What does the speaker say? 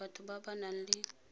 batho ba ba nang le